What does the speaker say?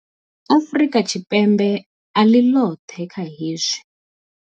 Afrika Tshipembe a ḽi ḽoṱhe kha hezwi.